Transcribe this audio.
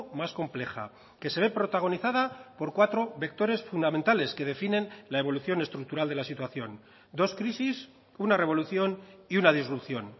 más compleja que se ve protagonizada por cuatro vectores fundamentales que definen la evolución estructural de la situación dos crisis una revolución y una disrupción